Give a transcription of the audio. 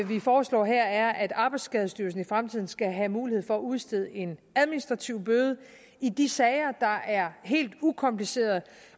vi foreslår her er at arbejdsskadestyrelsen i fremtiden skal have mulighed for at udstede en administrativ bøde i de sager der er helt ukomplicerede